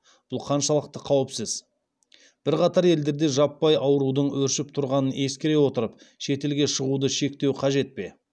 бұл қаншалықты қауіпсіз бірқатар елдерде жаппай аурудың өршіп тұрғанын ескере отырып шетелге шығуды шектеу қажет пе